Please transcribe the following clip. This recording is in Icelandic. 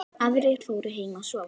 Aðrir fóru heim að sofa.